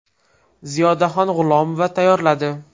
Ziyodaxon G‘ulomova tayyorladi.